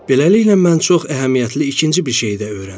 Beləliklə mən çox əhəmiyyətli ikinci bir şey də öyrəndim.